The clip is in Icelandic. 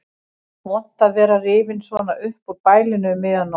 Vont að vera rifinn svona upp úr bælinu um miðja nótt.